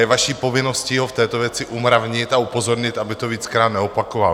Je vaší povinností ho v této věci umravnit a upozornit, aby to víckrát neopakoval.